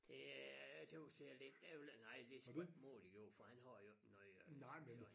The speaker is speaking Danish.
Det er jeg tøs det er lidt ærgeligt nej det såmen modigt gjort for han har jo ikke noget at skulle have sagt